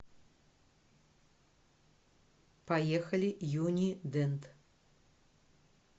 поехали юни дент